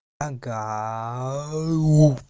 ага